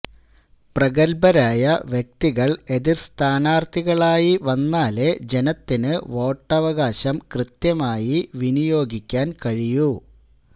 പ്രഗത്ഭരായ വ്യക്തികള് എതിര്സ്ഥാനാര്ത്ഥികളായി വന്നാലേ ജനത്തിന് വോട്ടവകാശം കൃത്യമായി വിനിയോഗിക്കാന് കഴിയൂ